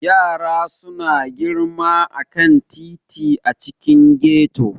Yara suna girma a kan titi a cikin ghetto.